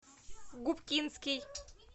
губкинский